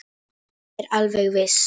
Ég er alveg viss.